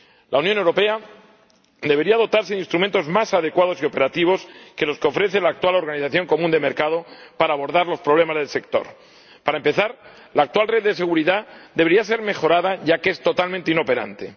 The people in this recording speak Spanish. La Unión Europea debería dotarse de instrumentos más adecuados y operativos que los que ofrece la actual organización común de mercados para abordar los problemas del sector. Para empezar, la actual red de seguridad debería ser mejorada, ya que es totalmente inoperante.